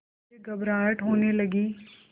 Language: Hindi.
मुझे घबराहट होने लगी